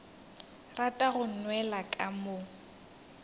rata go nwela ka mo